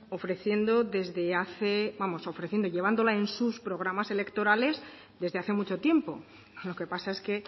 llevándola en sus programas electorales desde hace mucho tiempo lo que pasa es que